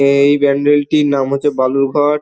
এই প্যান্ডেল -টির নাম হচ্ছে বালুরঘাট ।